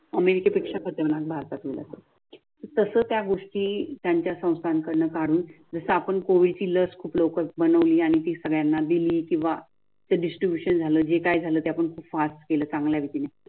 अमेरिकेपेक्षा खतरनाक भारताच झाल. तसं त्या गोष्टी त्यांच्या संस्थानकडून काढून जस आपण कोविडची लस खूप लवकर बनवली आणि ती सगळ्यांना दिल किंवा डिस्ट्रीब्युशन झालं. जे काही झालं ते आपण पास केलं चांगल्या रितीन